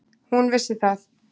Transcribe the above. Hún vissi það.